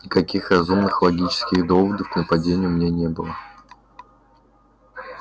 никаких разумных логических доводов к нападению у меня не было